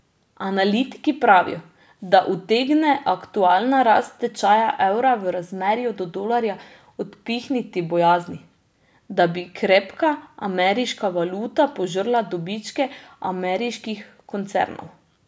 Analitiki pravijo, da utegne aktualna rast tečaja evra v razmerju do dolarja odpihniti bojazni, da bi krepka ameriška valuta požrla dobičke ameriških koncernov.